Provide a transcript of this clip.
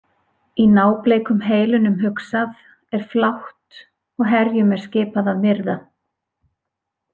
Í nábleikum heilunum hugsað er flátt og herjum er skipað að myrða.